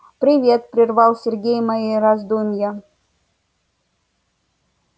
привет прервал сергей мои раздумья